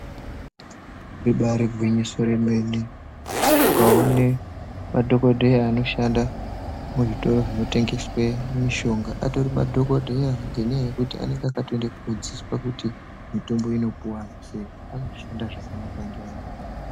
Ribaari gwinyiso remene ukaone madhokodheya anoshanda muzvitoro zvinotengeswe mishonga atori madhokodheya ngenyaya yekuti anenge akatoende kodzidziswa kuti mitombo inopiwa antu sei, vanoshanda zvakanaka neanhu.